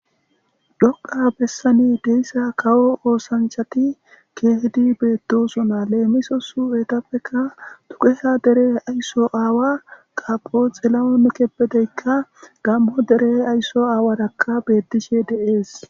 Dhoqa bessani deyssa kawo oosanchati keehidi beettosona, leemiso etappeka dugeha dere aysso aawa qapoxilaonekeppedeykka gammo dere aysso aawarakka beettishe de'ees.